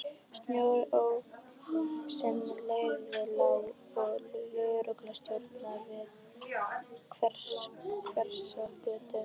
Snorri ók sem leið lá að lögreglustöðinni við Hverfisgötu.